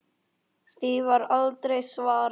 Því var aldrei svarað.